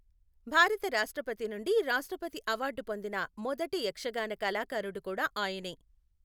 భారత రాష్ట్రపతి నుండి రాష్ట్రపతి అవార్డు పొందిన మొదటి యక్షగాన కళాకారుడు కూడా ఆయనే.